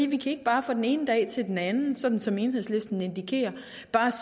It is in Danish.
vi kan ikke bare fra den ene dag til den anden sådan som enhedslisten indikerer